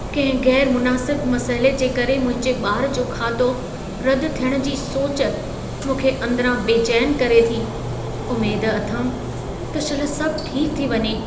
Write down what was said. कंहिं ग़ैरु मुनासिब मसइले जे करे मुंहिंजे ॿार जो खातो रदि थियणु जी सोच, मूंखे अंदिरां बेचैन करे थी, उमेद अथमि त शल सभु ठीक थी वञे।